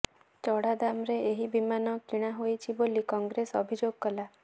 ଚଢ଼ା ଦାମରେ ଏହି ବିମାନ କିଣା ହୋଇଛି ବୋଲି କଂଗ୍ରେସ ଅଭିଯୋଗ କଲା